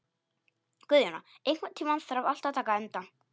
Guðjóna, einhvern tímann þarf allt að taka enda.